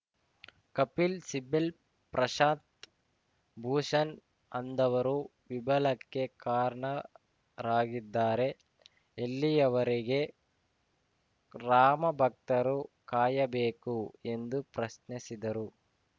ಕಪಿಲ್‌ ಸಿಬಲ್‌ ಪ್ರಶಾಂತ್‌ ಭೂಷಣ್‌ ಅಂದವರು ವಿಬಳಕ್ಕೆ ಕಾರಣರಾಗಿದ್ದಾರೆ ಎಲ್ಲಿಯವರೆಗೆ ರಾಮಭಕ್ತರು ಕಾಯಬೇಕು ಎಂದು ಪ್ರಶ್ನಿಸಿದರು